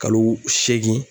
Kalo seegin.